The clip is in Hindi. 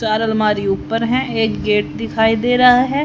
चार अलमारी ऊपर है एक गेट दिखाई दे रहा है।